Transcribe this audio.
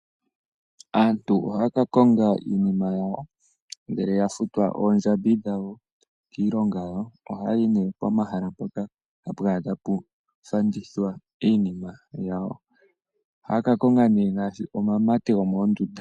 Aantu ohaya ka konga iinima yawo ngele ya futwa oondjambi dhawo kiilonga yawo, ohaya yi nee pomahala mpono hapu kala ta pu fandithwa iinima yawo. Ohaya ka konga nee ngaashi omamate go moondunda.